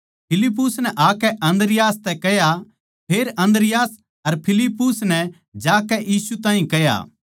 फिलिप्पुस नै आकै अन्द्रियास तै कह्या फेर अन्द्रियास अर फिलिप्पुस नै जाकै यीशु ताहीं कह्या